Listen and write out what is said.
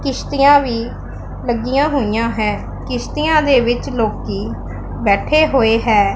ਕਿਸ਼ਤੀਆਂ ਵੀ ਲੱਗਿਆਂ ਹੋਈਆਂ ਹੈਂ ਕਿਸ਼ਤੀਆਂ ਦੇ ਵਿੱਚ ਲੋਕੀ ਬੈਠੇ ਹੋਏ ਹੈਂ।